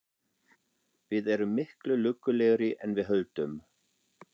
Við erum miklu lukkulegri en við höldum.